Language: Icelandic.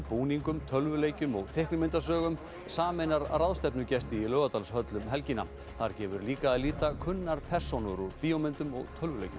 búningum tölvuleikjum og teiknimyndasögum sameinar ráðstefnugesti í Laugardalshöll um helgina þar gefur líka að líta kunnar persónur úr bíómyndum og tölvuleikjum